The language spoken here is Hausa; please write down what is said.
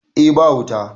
eh ba wuta